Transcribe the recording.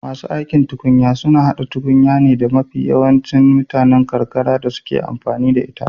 Masu aikin tukunya suna hada tukunya ne da mafi yancin mutanen karkara suke amfani da ita